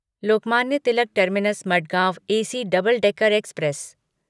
Lokmanya Tilak terminus Madgaon AC double decker express